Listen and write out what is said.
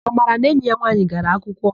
Amara na enyi ya nwaanyị gara akwụkwọ.